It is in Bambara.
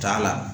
T'a la